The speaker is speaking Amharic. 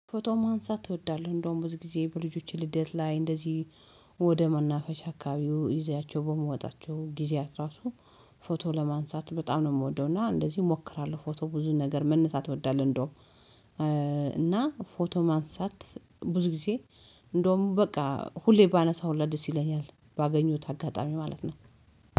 ፎቶ ማንሳት እወዳለሁ። እንደውም ብዙ ጊዜ በልጆቼ ልደት ላይ እንደዚህ ወደ መናፈሻ አካባቢው ይዠያቸው በመውጣቸው ጊዜያት ራሱ ፎቶ ለማንሳት በጣም ነው እምወደው። እና እንደዚህ እሞክራለሁ ፎቶ ብዙ ነገር መነሳት እወዳለሁ። እንደው እና ፎቶ ማንሳት ብዙ ጊዜ እንደውም በቃ ሁሌ ባነሳ ሁላ ደስ ይለኛል። ባገኘሁት አጋጣሚ ማለት ነው።